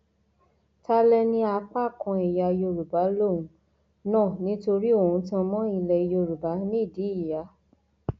tálẹn ní apá kan ẹyà yorùbá lòun náà nítorí òun tan mọ ilẹ yorùbá nídìí ìyá